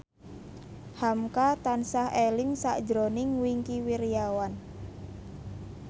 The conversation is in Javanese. hamka tansah eling sakjroning Wingky Wiryawan